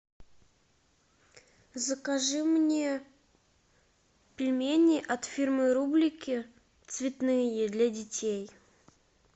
закажи мне пельмени от фирмы рублики цветные для детей